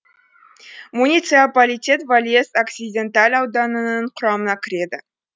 муниципалитет вальес оксиденталь ауданының құрамына кіреді